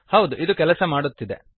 ಹೌದು ಇದು ಕೆಲಸ ಮಾಡುತ್ತಿದೆ